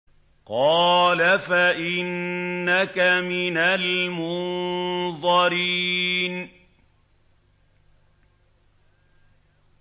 قَالَ فَإِنَّكَ مِنَ الْمُنظَرِينَ